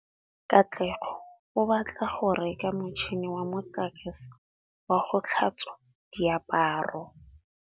Katlego o batla go reka motšhine wa motlakase wa go tlhatswa diaparo.